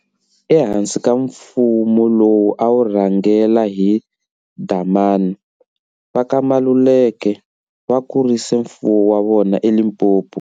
E hansi ka mfumu lowu a wu rhangela hi Dlhamani, va ka Maluleke va kurisile mfumo wa vona e Limpopo.